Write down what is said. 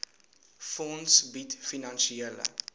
fonds bied finansiële